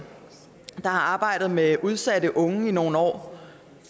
der har arbejdet med udsatte unge i nogle år